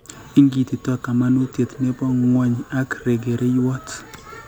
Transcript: Ingititoi kamanuutyet ne po ng'wony ak regereiywot